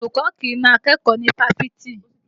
Olùkọ́ kì í na akẹ́kọ̀ọ́ ní Fáfitì